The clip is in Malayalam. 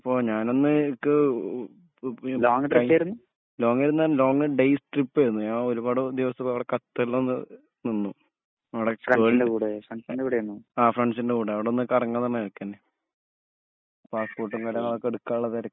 അപ്പൊ ഞാനൊന്ന് ക്ക് ഇപ്പോ പോ ലോങ്ങേർന്നു പറഞ്ഞ ലോങ്ങേര്ന്ന് ഡേയ്‌സ് ട്രിപ്പെർന്നു ഞ ഒരുപാട്‌ ദിവസം അവ്ടെ ഖത്തറിൽ ഒന്ന് നിന്നു ആ ഫ്രണ്ട്സൻറെകൂടെ അവ്ടെ ഒന്ന് കറങ്ങാന്ന് പറഞ്ഞക്കെന്നു പാസ്സ്പോർട്മ് കാര്യങ്ങളൊക്കെ എടുക്കാള്ളതെരക്ക്